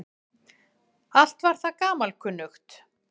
Allt var það gamalkunnugt.